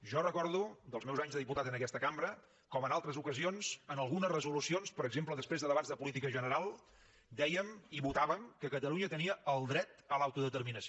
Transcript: jo recordo dels meus anys de diputat en aquesta cambra com en altres ocasions en algunes resolucions per exemple després de debats de política general dèiem i votàvem que catalunya tenia el dret a l’autodeterminació